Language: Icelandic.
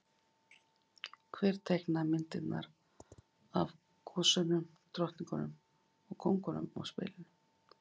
Hver teiknaði myndirnar af gosunum, drottningunum og kóngunum á spilin?